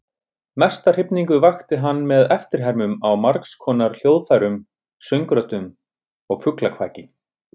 Mesta hrifningu vakti hann með eftirhermum á margskonar hljóðfærum, söngröddum og fuglakvaki.